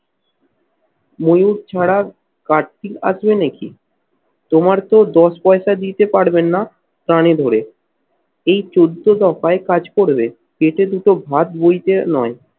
ময়ূর ছাড়া কার্তিক আছে নাকি? তোমার তো দশ পয়সা দিতে পারবেন না প্রাণে ধরে। এই চোদ্দ দফায় কাজ করলে পেটে দুটো ভাত বইতে নয়